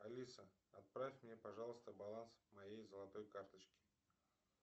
алиса отправь мне пожалуйста баланс моей золотой карточки